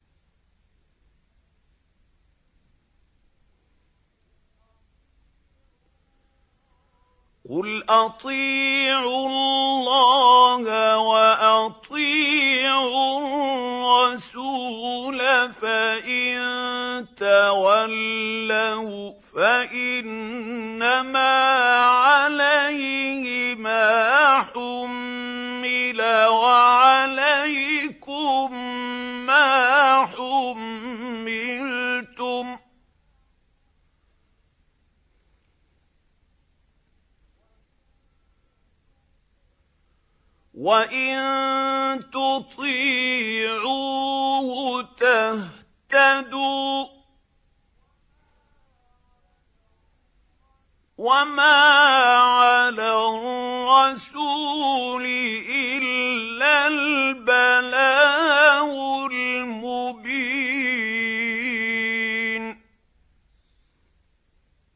قُلْ أَطِيعُوا اللَّهَ وَأَطِيعُوا الرَّسُولَ ۖ فَإِن تَوَلَّوْا فَإِنَّمَا عَلَيْهِ مَا حُمِّلَ وَعَلَيْكُم مَّا حُمِّلْتُمْ ۖ وَإِن تُطِيعُوهُ تَهْتَدُوا ۚ وَمَا عَلَى الرَّسُولِ إِلَّا الْبَلَاغُ الْمُبِينُ